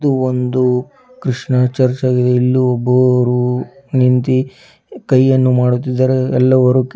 ಒಂದು ಕ್ರಿಷ್ಣ ಚರ್ಚ್ ಆಗಿದೆ ಇಲ್ಲು ಒಬ್ಬರು ನಿಂತಿ ಕೈಯನ್ನು ಮಾಡುತ್ತಿದ್ದಾರೆ ಎಲ್ಲವರು--